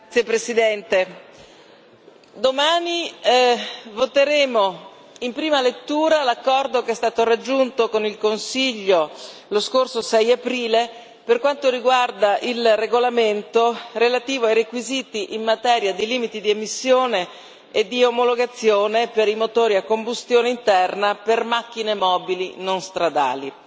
Signor Presidente, onorevoli colleghi, domani voteremo in prima lettura l'accordo che è stato raggiunto con il Consiglio, lo scorso 6 aprile, per quanto riguarda il regolamento relativo ai requisiti in materia di limiti di emissione e di omologazione per i motori a combustione interna per macchine mobili non stradali.